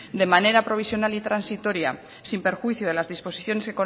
de manera provisional y transitoria sin perjuicio de las disposiciones